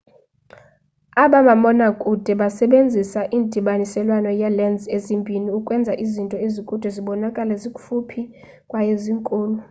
aba mabonakude basebenzisa indabaniselwano yee-lens ezimbini ukwenza izinto ezikude zibonakale zikufuphi kwaye zinkulu